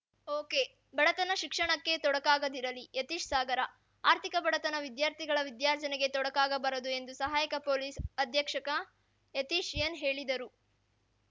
ಓಕೆಬಡತನ ಶಿಕ್ಷಣಕ್ಕೆ ತೊಡಕಾಗದಿರಲಿ ಯತೀಶ್‌ ಸಾಗರ ಆರ್ಥಿಕ ಬಡತನ ವಿದ್ಯಾರ್ಥಿಗಳ ವಿದ್ಯಾರ್ಜನೆಗೆ ತೊಡಕಾಗಬಾರದು ಎಂದು ಸಹಾಯಕ ಪೊಲೀಸ್‌ ಅಧ್ಯಕ್ಷಕ ಯತೀಶ್‌ ಎನ್‌ ಹೇಳಿದರು